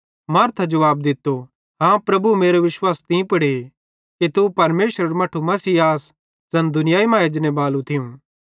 मार्था जुवाब दित्तो हाँ प्रभु मेरो विश्वास तीं पुड़े कि तू परमेशरेरू मट्ठू मसीह ज़ैन दुनियाई मां एजनेबालू थियूं